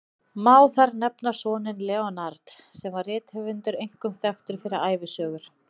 Má þar nefna soninn Leonard, sem var rithöfundur, einkum þekktur fyrir ævisögur.